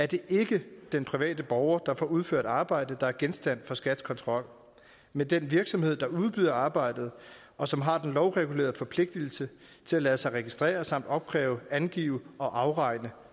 det ikke den private borger der får udført arbejde der er genstand for skats kontrol men den virksomhed der udbyder arbejdet og som har lovregulerede forpligtelser til at lade sig registrere samt opkræve angive og afregne